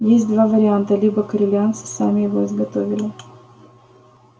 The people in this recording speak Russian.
есть два варианта либо корелианцы сами его изготовили